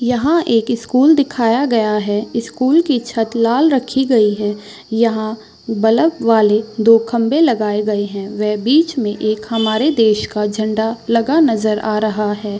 यहाँ एक स्कूल दिखाया गया है स्कूल कि छत लाल रखी गयी है यहाँ बल्ब वाले दो खम्बे लगाए गए है वह बिच मे एक हमारे देश का झंडा लगा नज़र आ रहा है।